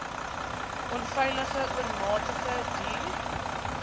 onveilige oormatige duur